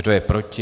Kdo je proti?